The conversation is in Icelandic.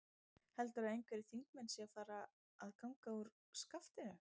Heldurðu að einhverjir þingmenn séu að fara að ganga úr skaftinu?